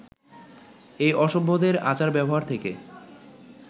এই অসভ্যদের আচার-ব্যবহার থেকে